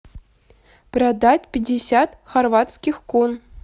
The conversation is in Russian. продать пятьдесят хорватских кун